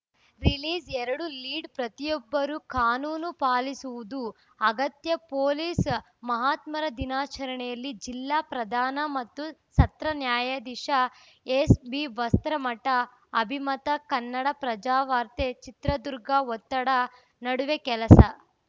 release ಎರಡು lead ಪ್ರತಿಯೊಬ್ಬರೂ ಕಾನೂನು ಪಾಲಿಸುವುದು ಅಗತ್ಯ ಪೊಲೀಸ್‌ ಮಹಾತ್ಮರ ದಿನಾಚರಣೆಯಲ್ಲಿ ಜಿಲ್ಲಾ ಪ್ರಧಾನ ಮತ್ತು ಸತ್ರ ನ್ಯಾಯಾಧೀಶ ಎಸ್‌ಬಿವಸ್ತ್ರಮಠ ಅಭಿಮತ ಕನ್ನಡಪ್ರಭವಾರ್ತೆ ಚಿತ್ರದುರ್ಗ ಒತ್ತಡದ ನಡುವೆ ಕೆಲಸ